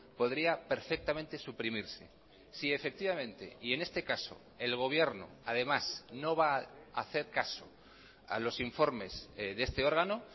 podría perfectamente suprimirse si efectivamente y en este caso el gobierno además no va a hacer caso a los informes de este órgano